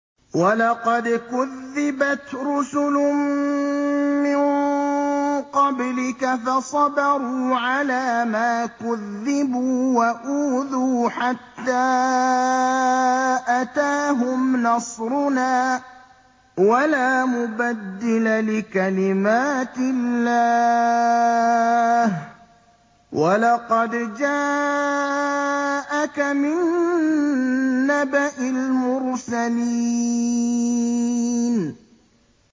وَلَقَدْ كُذِّبَتْ رُسُلٌ مِّن قَبْلِكَ فَصَبَرُوا عَلَىٰ مَا كُذِّبُوا وَأُوذُوا حَتَّىٰ أَتَاهُمْ نَصْرُنَا ۚ وَلَا مُبَدِّلَ لِكَلِمَاتِ اللَّهِ ۚ وَلَقَدْ جَاءَكَ مِن نَّبَإِ الْمُرْسَلِينَ